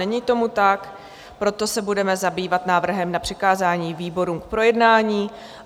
Není tomu tak, proto se budeme zabývat návrhem na přikázání výborům k projednání.